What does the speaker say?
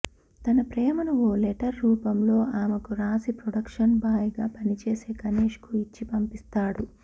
తన ప్రేమను ఓ లెటర్ రూపంలో ఆమెకు రాసి ప్రొడక్షన్ బాయ్ గా పనిచేసే గణేష్ కు ఇచ్చి పంపిస్తాడు